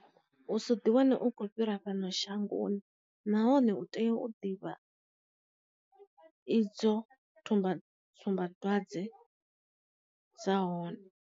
U so ḓiwana u khou fhira fhano shangoni nahone u tea u ḓivha idzo tsumba tsumba dzwadze dza hone.